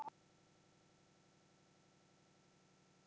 Þín Diljá.